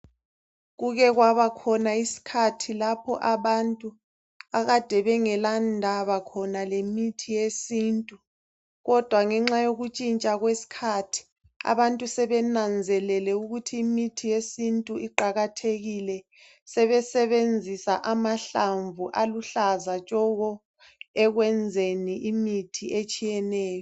Kuke kwabakhona isikhathi lapho abantu akade bengela ndaba khona lemithi yesintu kodwa ngenxa yokutshintsha kwesikhathi abantu sebenanzelele ukuthi imithi yesintu iqakathekile, sebesebenzisa amahlamvu aluhlaza tshoko ekwenzeni imithi etshiyeneyo